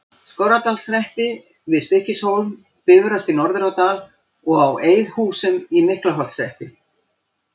Skorradalshreppi, við Stykkishólm, Bifröst í Norðurárdal og á Eiðhúsum í Miklaholtshreppi.